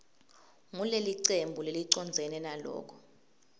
ngulelicembu lelicondzene naloko